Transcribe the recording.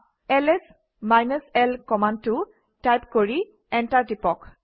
LS -l কমাণ্ডটো type কৰি enter টিপক